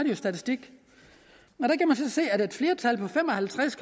en statistik se at et flertal på fem og halvtreds